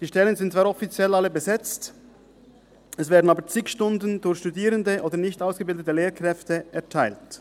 Die Stellen sind offiziell alle besetzt, es werden aber zig Stunden durch Studierende oder nicht ausgebildete Lehrkräfte erteilt.